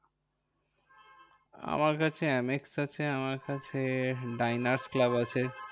আমার কাছে AmEx আছে। আমার কাছে ডাইনার্স ক্লাব আছে।